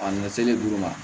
A ni seli duguma